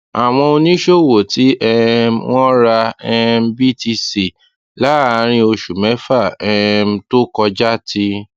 àwọn oníṣòwò tí um wọn ra um btc láàárín oṣù mẹfà um tó kọjá ti